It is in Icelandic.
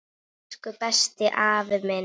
Elsku besti, afi minn.